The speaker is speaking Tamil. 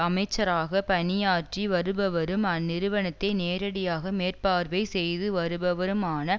அமைச்சராக பணியாற்றி வருபவரும் அந்நிறுவனத்தை நேரடியாக மேற்பார்வை செய்து வருபவருமான